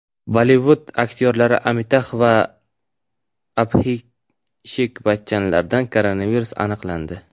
Bollivud aktyorlari Amitabh va Abhishek Bachchanlarda koronavirus aniqlandi.